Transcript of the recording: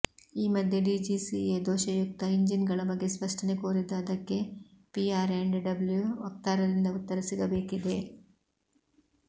ಈ ಮಧ್ಯೆ ಡಿಜಿಸಿಎ ದೋಷಯುಕ್ತ ಇಂಜಿನ್ಗಳ ಬಗ್ಗೆ ಸ್ಪಷ್ಟನೆ ಕೋರಿದ್ದು ಅದಕ್ಕೆ ಪಿ ಆ್ಯಂಡ್ ಡಬ್ಲ್ಯು ವಕ್ತಾರರಿಂದ ಉತ್ತರ ಸಿಗಬೇಕಿದೆ